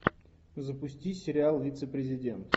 запусти сериал вице президент